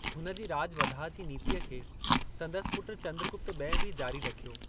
हुन जी राॼ वधाअ जी नीतीअ खे संदसि पुट चंद्रगुप्त ॿिएं बि जारी रखियो।